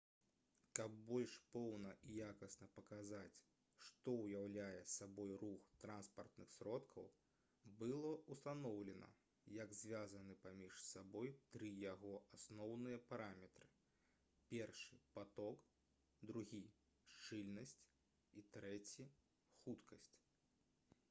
каб больш поўна і якасна паказаць што ўяўляе сабой рух транспартных сродкаў было ўстаноўлена як звязаны паміж сабой тры яго асноўныя параметры: 1 паток 2 шчыльнасць і 3 хуткасць